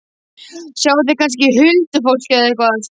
Sjáið þið kannski huldufólk- eða eitthvað?